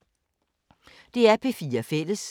DR P4 Fælles